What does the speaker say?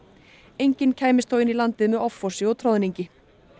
enginn kæmst þó inn í landið með offorsi og troðningi